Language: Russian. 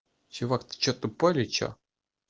чувак ты что тупой или что